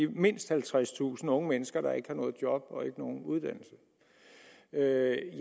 mindst halvtredstusind unge mennesker der ikke har noget job og ikke nogen uddannelse er